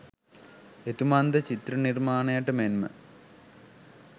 එතුමන් ද චිත්‍ර නිර්මාණයට මෙන්ම